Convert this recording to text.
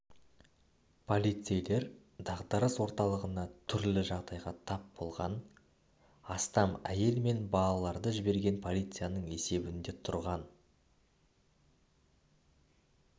полицейлер дағдарыс орталығына түрлі жағдайға тап болған астам әйел мен балаларды жіберген полицияның есебінде тұрған